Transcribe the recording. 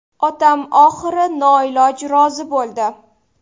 Otam oxiri noiloj rozi bo‘ldi.